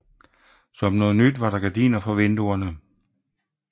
Som noget nyt var der gardiner for vinduerne